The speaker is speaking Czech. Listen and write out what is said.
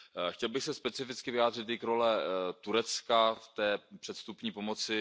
Chtěl bych se specificky vyjádřit i k roli Turecka v té předvstupní pomoci.